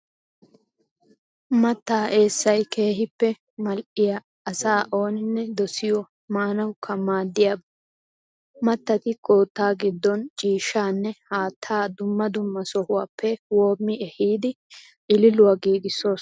Mattaa eessay keehippe madhdhiya asa ooninne dosiyo maanawukka madhdhiyaba. Mattati kootta giddon ciishshanne haattaa dumma dumma sohuwaappe woommi ehidi ililuwaa giigissoosona.